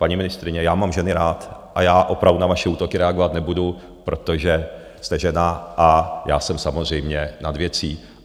Paní ministryně, já mám ženy rád a já opravdu na vaše útoky reagovat nebudu, protože jste žena, a já jsem samozřejmě nad věcí.